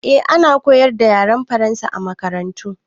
Eh, ana koyar da yaren Faransa a makarantu.